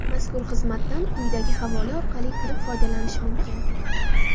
Mazkur xizmatdan quyidagi havola orqali kirib foydalanish mumkin.